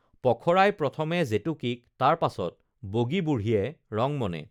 পখৰাই প্ৰথমে জেতুকীক তাৰ পাছত বগী বুঢ়ীয়ে ৰংমনে